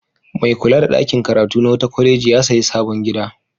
Mai kula da ɗakin karatu na wata kwaleji ya sayi sabon gida.